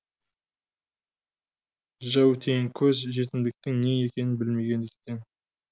жәутеңкөз жетімдіктің не екенін білмегендіктен